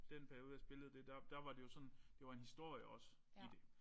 Den periode jeg spillede det der der var det jo sådan det var en historie også i det